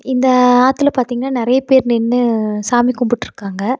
இந்த ஆத்துல பாத்திங்னா நெறைய பேர் நின்னு சாமி கும்புட்ருக்காங்க.